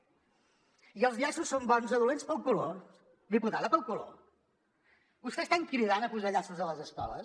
i els llaços són bons o dolents pel color diputada pel color vostès estan cridant a posar llaços a les escoles